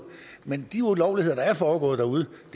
men de ulovligheder der er foregået ude